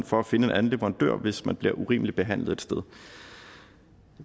for at finde en anden leverandør hvis man bliver urimeligt behandlet et sted